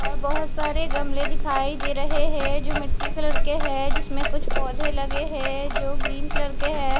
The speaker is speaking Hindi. और बहुत सारे गमले दिखाई दे रहे है जो मिट्टी कलर के है जिसमें कुछ पौधे लगे है जो ग्रीन कलर के है।